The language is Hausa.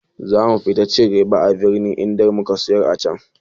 Za mu fi cin riba a birni idan muka siyar acan.